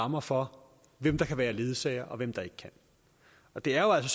rammer for hvem der kan være ledsager og hvem der ikke kan og det er jo